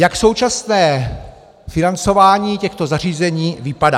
Jak současné financování těchto zařízení vypadá?